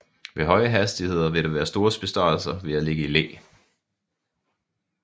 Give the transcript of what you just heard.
Ved høje hastigheder vil der være store besparelser ved at ligge i læ